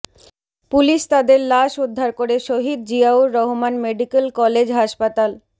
police তাদের লাশ উদ্ধার করে শহীদ জিয়াউর রহমান মেডিকেল কলেজ হাসপাতাল